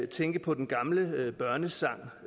tænke på en gammel børnesang